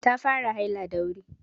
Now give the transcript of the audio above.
Ta fara haila da wuri.